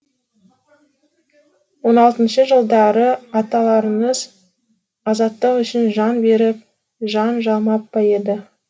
он алтыншы жылдары аталарымыз азаттық үшін жан беріп жан жалмап па еді